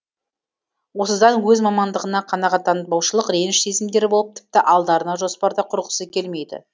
осыдан өз мамандығына қанағаттанбаушылық реніш сезімдері болып тіпті алдарына жоспар да құрғысы келмейді